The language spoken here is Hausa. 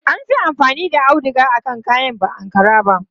An fi amfani da auduga akan kayan ba Ankara ba.